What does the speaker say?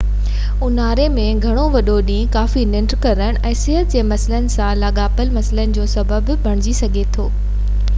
اونهاري ۾ گهڻو وڏو ڏينهن ڪافي ننڍ ڪرڻ ۽ صحت جي مسئلن سان لاڳاپيل مسئلن جو سبب بڻجي سگهي ٿو